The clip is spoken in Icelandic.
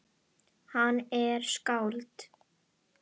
Hann er skáld